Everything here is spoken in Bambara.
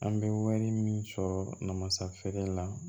An bɛ wari min sɔrɔ namasa feere la